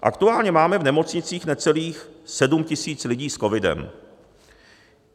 Aktuálně máme v nemocnicích necelých 7 tisíc lidí s COVID.